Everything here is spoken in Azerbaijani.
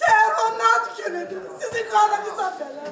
Səhər onun ad günüdür, sizi qanınızə bələ.